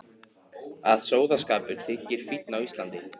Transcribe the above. Að sóðaskapur þyki fínn á Íslandi.